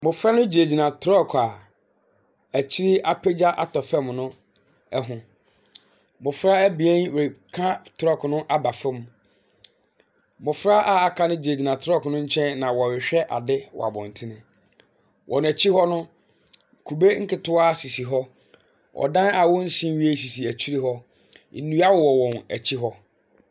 Mmɔfra no gyinagyina trɔɔko a akyi apagya atɔ fam no ho. Mmɔfra abien reka trɔɔko no aba fam. Mmɔfra a aka no gyinagyina trɔɔko ne nkyɛn na wɔrehwɛ ade wɔ abɔntene. Wɔn akyi hɔ no, kube nketewa sisi hɔ, ɔdan a wɔnsi nwiei sisi akyire hɔ. Nnua wɔ wɔn akyi hɔ.